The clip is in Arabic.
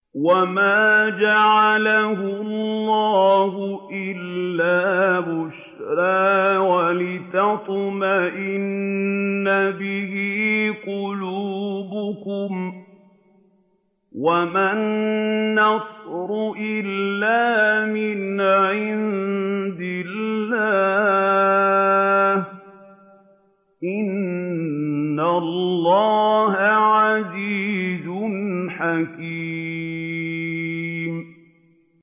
وَمَا جَعَلَهُ اللَّهُ إِلَّا بُشْرَىٰ وَلِتَطْمَئِنَّ بِهِ قُلُوبُكُمْ ۚ وَمَا النَّصْرُ إِلَّا مِنْ عِندِ اللَّهِ ۚ إِنَّ اللَّهَ عَزِيزٌ حَكِيمٌ